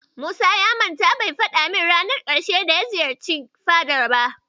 Musa ya manta bai faɗa min ranar ƙarshe da ya ziyarci fadar ba.